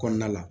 Kɔnɔna la